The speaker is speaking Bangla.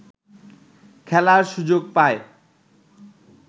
খেলার সুযোগ পায়